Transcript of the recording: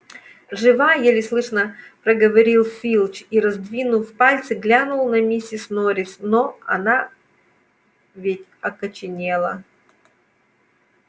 жива еле слышно проговорил филч и раздвинув пальцы глянул на миссис норрис но но она ведь окоченела